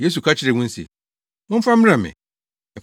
Yesu ka kyerɛɛ wɔn se, “Momfa mmrɛ me.”